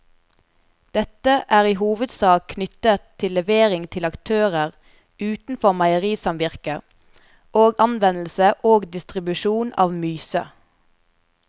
Dette er i hovedsak knyttet til levering til aktører utenfor meierisamvirket og anvendelse og distribusjon av myse.